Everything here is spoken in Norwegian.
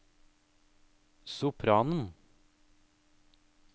sopranen